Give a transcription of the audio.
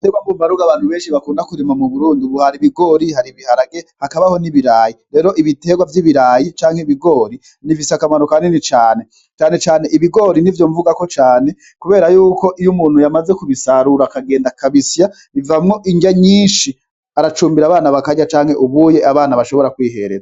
Terwa mkummaruga bantu benshi bakunda kuzima mu burundi buhara ibigori hari ibiharage hakabaho n'ibirayi rero ibiterwa vy'ibirayi canke ibigori n'ivisa akamaro ka nini canecanecane ibigori ni vyo mvugako cane, kubera yuko iyo umuntu yamaze kubisarura akagenda kabisiya bivamwo indya nyinshi aracumbira abana bakarya canke ubuye abana bashobora kwiha.